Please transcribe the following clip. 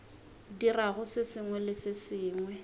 dirago se sengwe le se